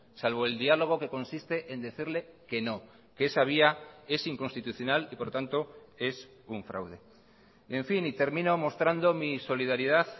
salvo el diálogo que consiste en decirle que no que esa vía es inconstitucional y por lo tanto es un fraude en fin y termino mostrando mi solidaridad